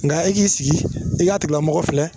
Nka e k'i sigi i k'a tugulamɔgɔ filɛ